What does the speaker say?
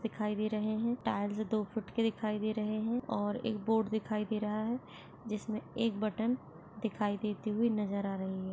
दीखाई दे रहै है टार्ज़ दो फुट के दीखाई दे रहै है और एक बोर्ड दिखई दे रहा है जिसमे एक बट्टन दिखई देती हुई नज़र आ रही है।